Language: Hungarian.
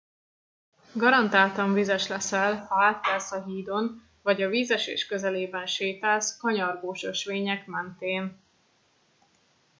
garantáltan vizes leszel ha átkelsz a hídon vagy a vízesés közelében sétálsz kanyargós ösvények mentén